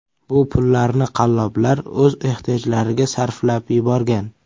Bu pullarni qalloblar o‘z ehtiyojlariga sarflab yuborgan.